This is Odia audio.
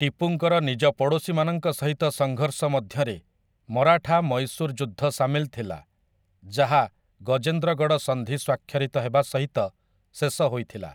ଟିପୁଙ୍କର ନିଜ ପଡ଼ୋଶୀମାନଙ୍କ ସହିତ ସଂଘର୍ଷ ମଧ୍ୟରେ ମରାଠା ମୈଶୂର ଯୁଦ୍ଧ ସାମିଲ ଥିଲା, ଯାହା ଗଜେନ୍ଦ୍ରଗଡ଼ ସନ୍ଧି ସ୍ୱାକ୍ଷରିତ ହେବା ସହିତ ଶେଷ ହୋଇଥିଲା ।